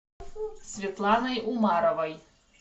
светланой умаровой